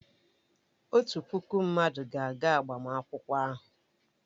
Otu puku mmadụ ga-aga agbamakwụkwọ ahụ.